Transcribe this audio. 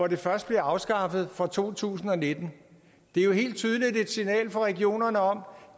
det først bliver afskaffet fra to tusind og nitten det er jo helt tydeligt et signal fra regionerne om